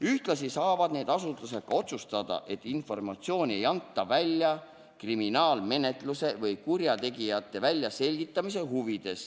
Ühtlasi saavad need asutused ka otsustada, et informatsiooni ei anta välja kriminaalmenetluse või kurjategija väljaselgitamise huvides.